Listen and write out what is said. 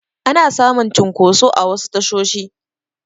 Ana samun cunkoso a wasu tashoshi